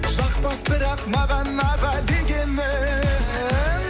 жақпас бірақ маған аға дегенің